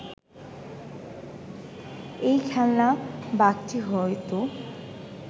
এই খেলনা বাঘটি হয়তো